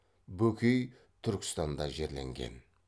бөкей түркістанда жерленген